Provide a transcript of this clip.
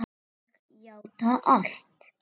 Ég játa allt